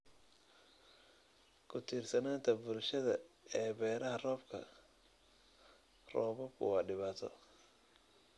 Ku-tiirsanaanta bulshada ee beeraha roobka-roobaadku waa dhibaato.